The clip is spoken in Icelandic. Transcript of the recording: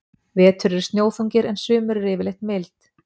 Vetur eru snjóþungir, en sumur eru yfirleitt mild.